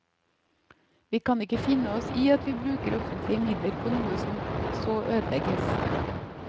Vi kan ikke finne oss i at vi bruker offentlige midler på noe som så ødelegges.